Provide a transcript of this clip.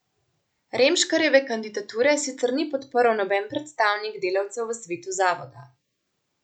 Remškarjeve kandidature sicer ni podprl noben predstavnik delavcev v svetu zavoda.